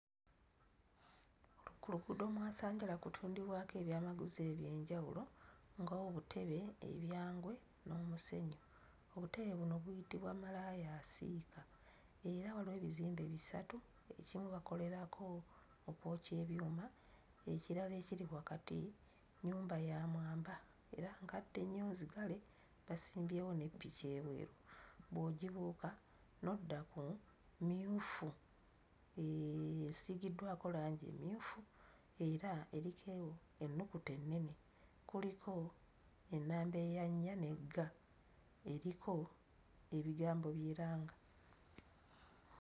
Ku luguudo mwasanjala kutundibwako ebyamaguzi eby'enjawulo ng'obutebe, ebyangwe n'omusenyu. Obutebe buno buyitibwa malaayaasiika era waliwo ebizimbe bisatu ekimu bakolerako okwokya ebyuma, ekirala ekiri wakati nnyumba ya mwamba era nkadde nnyo nzigale basimbyewo ne ppiki ebweru. Bw'ogibuuka n'odda ku mmyufu esiigiddwako langi emmyufu era erikewo ennukuta ennene kuliko ennamba eya nnya ne ga eriko ebigambo by'eranga.